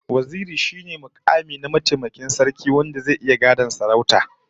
Waziri shine mukami na mataimakin sarki wanda zai iya gadon sarautar